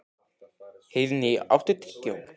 Heiðný, áttu tyggjó?